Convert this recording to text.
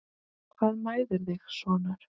Hvað mæðir þig sonur?